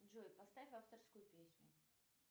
джой поставь авторскую песню